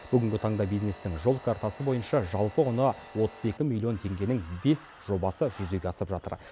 бүгінгі таңда бизнестің жол картасы бойынша жалпы құны отыз екі миллион теңгенің бес жобасы жүзеге асып жатыр